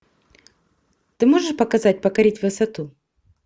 ты можешь показать покорить высоту